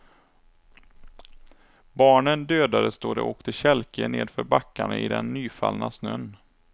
Barnen dödades då de åkte kälke nedför backarna i den nyfallna snön.